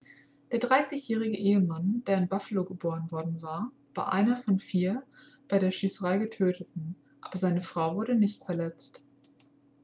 der 30-jährige ehemann der in buffalo geboren worden war war einer von vier bei der schießerei getöteten aber seine frau wurde nicht verletzt